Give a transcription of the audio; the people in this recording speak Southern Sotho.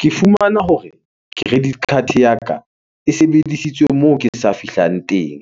Ke fumana hore credit card ya ka e sebedisitswe moo ke sa fihlang teng.